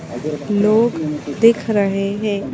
लोग दिख रहे हैं।